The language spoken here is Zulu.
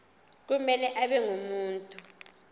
kumele abe ngumuntu